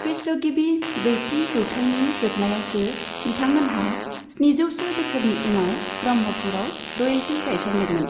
ख्रीष्टगिबि ब्रैथि जौथायनि जोबनायावसो बिथांमोनहा स्निजौसो बोसोरनि उनाव ब्रह्मपुरआव रयेल्टि गायसनदोंमोन।